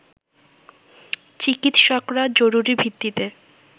চিকিৎসকরা জরুরি ভিত্তিতে